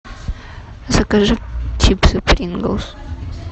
закажи чипсы принглс